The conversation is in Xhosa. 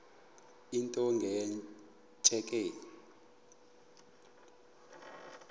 into nge tsheki